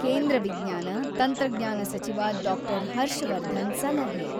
ಕೇಂದ್ರ ವಿಜ್ಞಾನ, ತಂತ್ರಜ್ಞಾನಸಚಿವ ಡಾಕ್ಟರ್ ಹರ್ಷವರ್ಧನ್ ಸಲಹೆ.